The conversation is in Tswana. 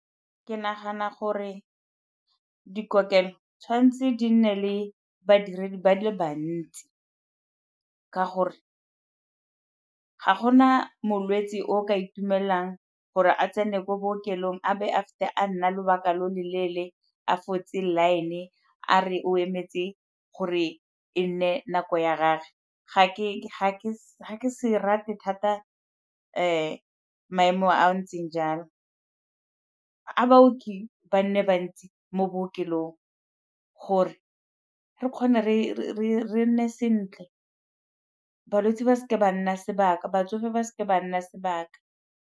Ke nagana gore dikokelo tshwanetse di nne le badiredi ba le bantsi ka gore ga gona molwetsi o ka itumelelang gore a tsene ko bookelong a be fitlhe a nna lobaka lo lo leele a fotse line-e a re o emetse gore e nne nako ya gage ga ke se rata thata maemo a a ntseng jalo. A baoki ba nne bantsi mo bookelong gore re kgona re nne sentle balwetsi ba seke ba nna sebaka batsofe ba seke ba nna sebaka.